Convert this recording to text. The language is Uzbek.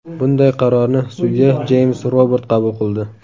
Bunday qarorni sudya Jeyms Robart qabul qildi.